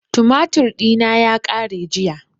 Tumatir ɗina ya ƙare jiya